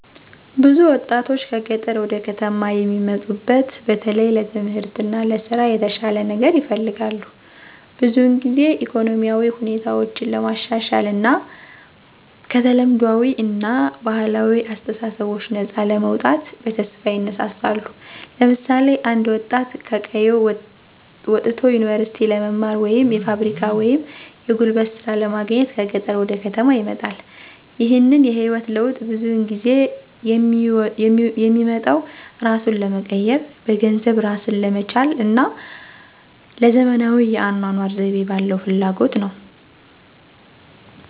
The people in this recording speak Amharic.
ብዙ ወጣቶች ከገጠር ወደ ከተማ የሚሙጡት በተለይ ለትምህርት እና ለስራ የተሻለ ነገር ይፈልጋሉ። ብዙውን ጊዜ ኢኮኖሚያዊ ሁኔታቸውን ለማሻሻል እና ከተለምዷዊ እና ባህላዊ አስተሳሰቦች ነፃ ለመውጣት በተስፋ ይነሳሳሉ። ለምሳሌ አንድ ወጣት ከቀየው ወጥቶ ዩኒቨርሲቲ ለመማር ወይም የፋብሪካ ወይም የጉልበት ሥራ ለማግኘት ከገጠር ወደ ከተማ ይመጣል። ይህንን የህይወት ለውጥ ብዙውን ጊዜ የሚመጣው እራሱን ለመቀየር፣ በገንዘብ እራስን ለመቻል እና ለዘመናዊ የአኗኗር ዘይቤ ባለው ፍላጎት ነው።